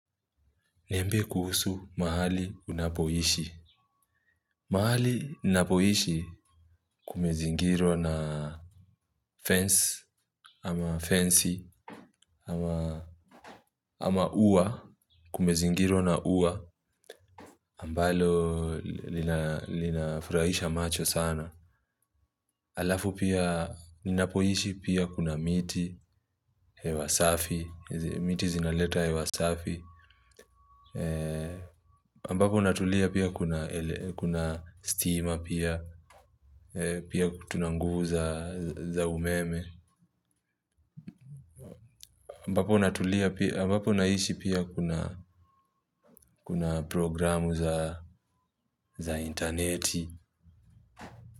Niambie kuhusu mahali unapoishi. Mahali ninapoishi kumezingirwa na fence ama fance ama ua kumezingirwa na ua ambalo linafuraisha macho sana. Alafu pia ninapoishi pia kuna miti hewa safi miti zinaleta hewa safi ambapo natulia pia kuna stima pia. Pia tuna nguvu za umeme ambapo natulia pia ambapo naishi pia kuna programu za intaneti.